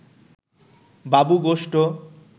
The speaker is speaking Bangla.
বাবু গোষ্ঠ